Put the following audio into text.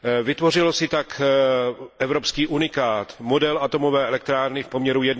Vytvořilo si tak evropský unikát, model atomové elektrárny v poměru